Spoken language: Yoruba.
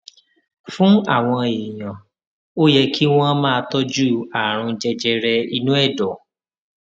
fún àwọn èèyàn ó yẹ kí wón máa tójú àrùn jẹjẹrẹ inú èdò